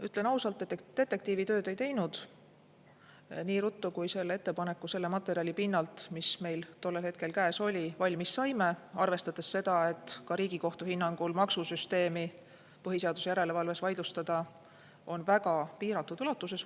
Ütlen ausalt, et detektiivitööd me ei teinud, seda ettepanekut selle materjali pinnalt, mis meil tollel hetkel käes oli, ja arvestades ka seda, et Riigikohtu hinnangul on maksusüsteemi põhiseaduse järelevalves vaidlustada võimalik väga piiratud ulatuses.